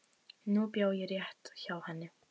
Nú bjó ég rétt hjá henni.